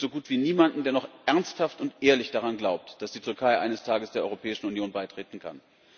Es gibt so gut wie niemanden, der noch ernsthaft und ehrlich daran glaubt, dass die Türkei eines Tages der Europäischen Union beitreten kann.